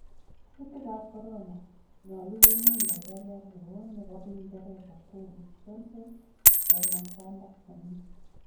Kuutik ab Corona:Nyolu komuny laitoriat newon nebo Uingereza Boris Johnson, komwa Kwanda nenyin.